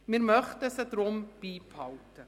Wir möchten sie deshalb beibehalten.